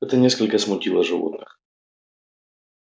это несколько смутило животных